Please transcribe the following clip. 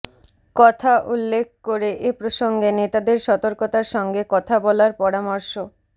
কথা উল্লেখ করে এ প্রসঙ্গে নেতাদের সতর্কতার সঙ্গে কথা বলার পরামর্শ